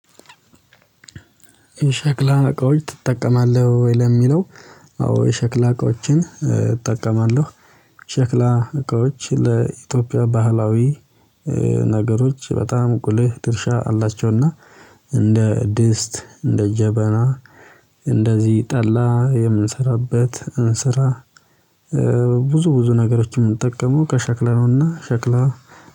የሸክላ እቃዎች ትጠቀማለህ ወይ ለሚለው? አዎ የሸክላ እቃዎችን እጠቀማለሁ። ሸክላ እቃዎች ለኢትዮጵያ ባህላዊ ነገሮች በጣም ሁልህ ድርሻ አላቸውና እንደ ድስት እንደ ጀበና እንደዚህ ጠላ የምንሰራበት እንስራ። ብዙ ብዙ ነገሮችን የምንጠቀመው ከሸክላ ነውና ሸክላ